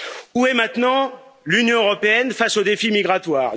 Où est maintenant l'Union européenne face au défi migratoire?